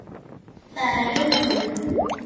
Það er huggun.